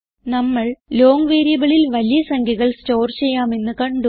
നമ്മൾ ലോങ് വേരിയബിളിൽ വലിയ സംഖ്യകൾ സ്റ്റോർ ചെയ്യാമെന്ന് കണ്ടു